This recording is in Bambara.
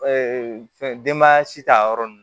fɛn denbaya si t'a yɔrɔ nun